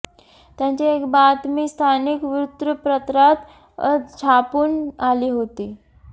त्यांची एक बातमी स्थानिक वृत्तपत्रात छापून आली होती